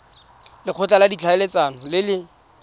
lekgotla la ditlhaeletsano le le